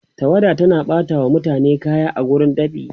tawada tana ɓata wa mutane kaya a wurin dab'i